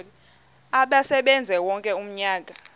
asebenze wonke umnyaka